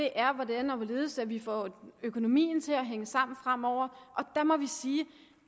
er hvordan og hvorledes vi får økonomien til at hænge sammen fremover og der må vi sige